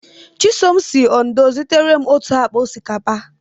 Chisom si Ondo zitere m otu akpa osikapa.